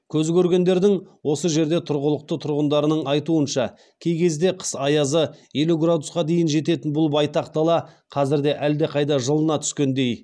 көз көргендердің осы жерде тұрғылықты тұрғындарының айтуынша кей кезде қыс аязы елу градусқа дейін жететін бұл байтақ дала қазірде әлдеқайда жылына түскендей